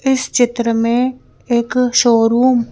इस चित्र में एक शोरूम --